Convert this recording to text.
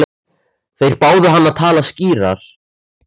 Þeir báðu hann að tala skýrar.